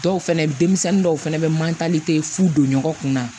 Dɔw fɛnɛ denmisɛnnin dɔw fɛnɛ bɛ manlite fu don ɲɔgɔn kun na